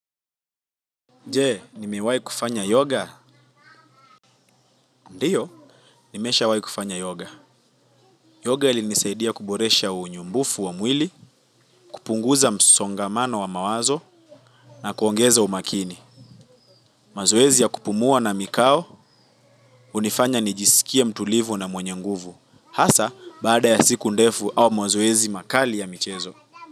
Je, nimewai kufanya yoga? Ndiyo, nimesha wai kufanya yoga. Yoga ilinisaidia kuboresha unyumbufu wa mwili, kupunguza msongamano wa mawazo na kuongeza umakini. Mazoezi ya kupumua na mikao, unifanya nijisikia mtulivu na mwenye nguvu. Hasa, baada ya siku ndefu au mazoezi makali ya michezo.